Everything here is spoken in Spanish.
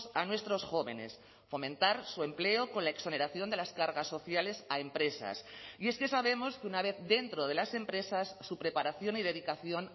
a nuestros jóvenes fomentar su empleo con la exoneración de las cargas sociales a empresas y es que sabemos que una vez dentro de las empresas su preparación y dedicación